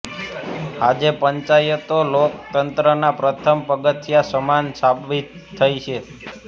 આજે પંચાયતો લોકતંત્રના પ્રથમ પગથિયા સમાન સાબિત થઈ છે